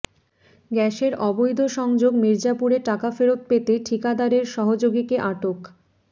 গ্যাসের অবৈধ সংযোগ মির্জাপুরে টাকা ফেরত পেতে ঠিকাদারের সহযোগীকে আটক